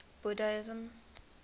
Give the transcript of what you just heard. buddhism